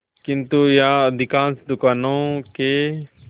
किंतु यहाँ अधिकांश दुकानों के